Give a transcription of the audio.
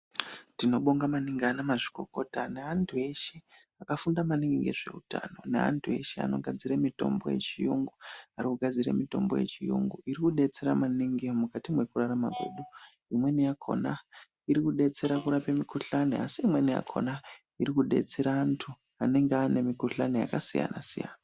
Tinobonga maningi ana mazvikokota neantu eshe akafunda maningi ngezveutano neantu eshe anogadzire mitombo yechiyungu arikugadzire mitombo yechiyungu irikudetsera maningi mukati mwekurarama kwedu. Imweni yakhona irikudetsera kurape mikhulani asi imweni yakhona irikudetsera antu anenge ane mikhuhlani yakasiyana-siyana.